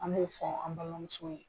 An b'o fɔ an balimamuso ye.